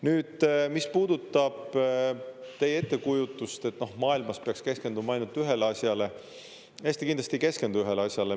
Nüüd, mis puudutab teie ettekujutust, et maailmas peaks keskenduma ainult ühele asjale – Eesti kindlasti ei keskendu ühele asjale.